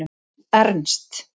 Ernst